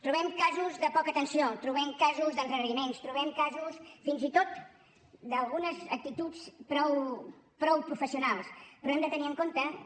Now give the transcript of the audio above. trobem casos de poca atenció trobem casos d’endarreriments trobem casos fins i tot d’algunes actituds prou professionals però hem de tenir en compte que